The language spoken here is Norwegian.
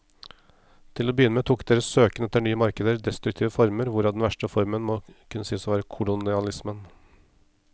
Til å begynne med tok deres søken etter nye markeder destruktive former, hvorav den verste formen må kunne sies å være kolonialismen.